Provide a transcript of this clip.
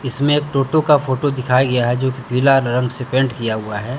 इसमें एक टोटो का फोटो दिखाया गया है जोकि पीला रंग से पेंट किया हुआ है।